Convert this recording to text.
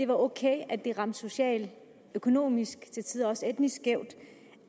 ok at det ramte socialt økonomisk og til tider også etnisk skævt